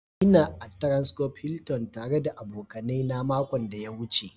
Ina a transcorp Hilton tare da abokanai na makon da ya wuce.